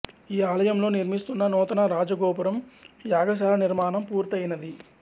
ఈ ఆలయంలో నిర్మిస్తున్న నూతన రాజగోపురం యాగశాల నిర్మాణం పూర్తయినది